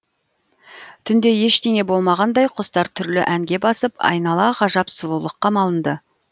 түнде ештеңе болмағандай құстар түрлі әнге басып айнала ғажап сұлулыққа малынды